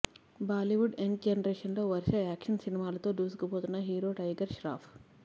Bollywood young జనరేషన్లో వరుస action సినిమాలతో దూసుకుపోతున్న హీరో టైగర్ ష్రాఫ్